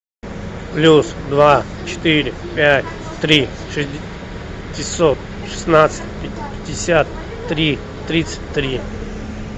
плюс два четыре пять три шестьсот шестнадцать пятьдесят три тридцать три